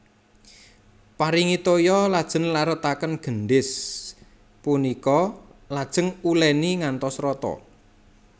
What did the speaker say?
Paringi toya lajeng larutaken gendhis punika lajeng uléni ngantos rata